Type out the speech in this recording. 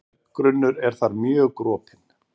Berggrunnur er þar mjög gropinn.